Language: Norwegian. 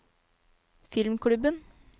filmklubben